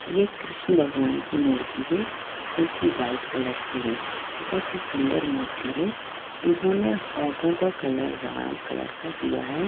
यह कृष्ण भगवान की मूर्ति है जो की वाइट कलर की है बहुत ही सुंदर मूर्ति है इन्होंने होठों का कलर लाल कलर का दिया है।